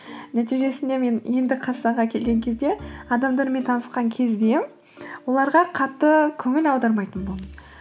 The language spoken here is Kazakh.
нәтижесінде мен енді қазақстанға келген кезде адамдармен танысқан кезде оларға қатты көңіл аудармайтын болдым